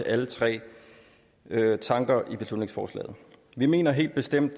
alle tre tanker i beslutningsforslaget vi mener helt bestemt